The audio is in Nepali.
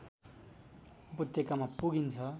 उपत्यकामा पुगिन्छ